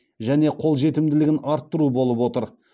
және қолжетімділігін арттыру болып отыр